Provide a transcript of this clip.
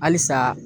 Halisa